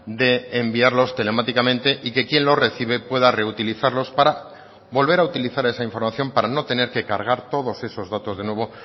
de enviarlos telemáticamente y que quién lo recibe pueda reutilizarlos para volver a utilizar esa información para no tener que cargar todos esos datos de nuevo